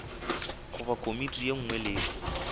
goba komiti ye nngwe le